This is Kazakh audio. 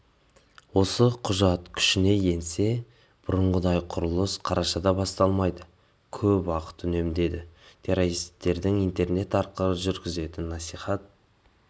осы құжат күшіне енсе бұрынғыдай құрылыс қарашада басталмайды көп уақыт үнемделеді террористердің интернет арқылы жүргізетін насихат